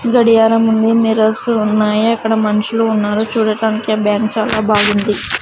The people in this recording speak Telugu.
గడియారం ఉంది మిర్రర్స్ ఉన్నాయి అక్కడ మనుషులు ఉన్నారు చూడటానికి బ్యాంక్ చాలా బాగుంది.